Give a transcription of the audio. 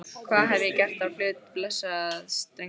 Hvað hef ég gert á hlut blessaðs drengsins?